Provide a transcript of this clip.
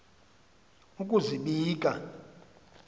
ukuzibika